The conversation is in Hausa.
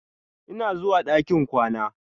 Ina zuwa ɗakin kwana.